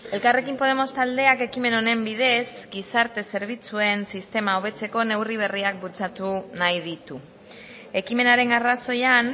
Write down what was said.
elkarrekin podemos taldeak ekimen honen bidez gizarte zerbitzuen sistema hobetzeko neurri berriak bultzatu nahi ditu ekimenaren arrazoian